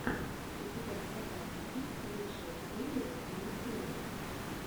у тебя в запасе есть лучшая серия зиифрей